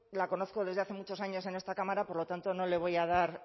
la conozco desde hace muchos años en esta cámara por lo tanto no le voy a dar